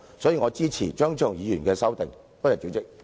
所以，我支持張超雄議員的修正案。